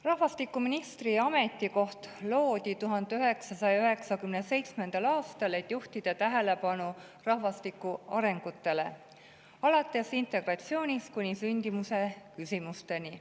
Rahvastikuministri ametikoht loodi 1997. aastal, et juhtida tähelepanu rahvastiku arengutele alates integratsioonist kuni sündimuse küsimusteni.